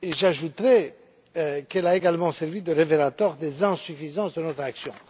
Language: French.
Et j'ajouterais qu'elle a également servi de révélateur des insuffisances de notre action.